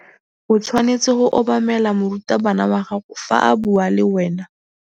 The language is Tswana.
O tshwanetse go obamela morutabana wa gago fa a bua le wena.